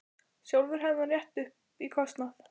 Sjálfur hefði hann rétt upp í kostnað.